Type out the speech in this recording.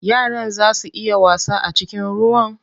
Yaran zaa su iya wasa a cikin ruwan?